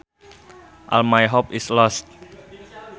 All my hope is lost